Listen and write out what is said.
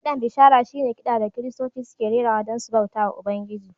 Kiɗan bishara shi ne kiɗa da Kiristoci suke rerawa don su bauta wa Ubangiji.